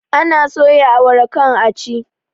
Ana soya awara kan a ci